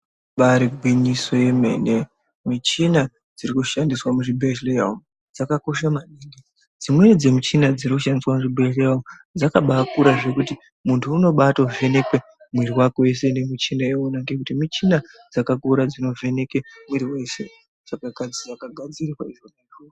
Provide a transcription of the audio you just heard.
Ibari gwinyiso remene michina iri kushandiswa muzvibhedhlera umu dzakakosha maningi dzimweni dzemuchina dziri kushandiswa muzvibhedhlera umu dzakanakira zvekuti muntu unobavhenekwa mwiri wese ngekuti muchina dzakakura dzinovheneka mwiri weshe.